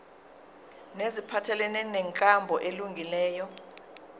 neziphathelene nenkambo elungileyo